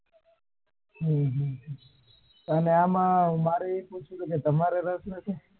હમ મારે આવું પૂછવું હતું કે તમારે રસ નથી?